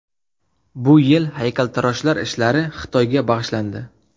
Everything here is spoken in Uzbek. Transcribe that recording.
Bu yil haykaltaroshlar ishlari Xitoyga bag‘ishlandi.